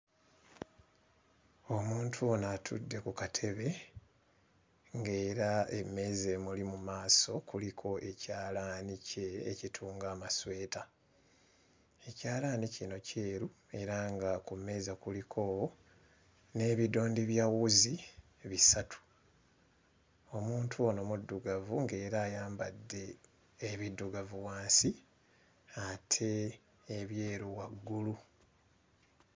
Omuntu ono atudde ku katebe ng'era emmeeza emuli mu maaso kuliko ekyalaani kye ekitunga amasweta. Ekyalaani kino kyeru era nga ku mmeeza kuliko n'ebidondi bya wuzi bisatu. Omuntu ono muddugavu ng'era ayambadde ebiddugavu wansi ate ebyeru waggulu.